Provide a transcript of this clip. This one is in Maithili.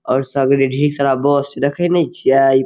और सगरे ढेरी सारा बांस छै देखे ने छीए इ --